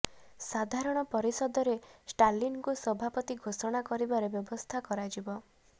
ସାଧାରଣ ପରିଷଦରେ ଷ୍ଟାଲିନଙ୍କୁ ସଭାପତି ଘୋଷଣା କରିବାର ବ୍ୟବସ୍ଥା କରାଯିବ